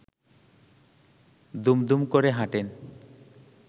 দুমদুম করে হাঁটেন